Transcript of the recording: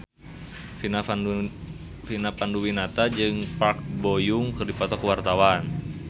Vina Panduwinata jeung Park Bo Yung keur dipoto ku wartawan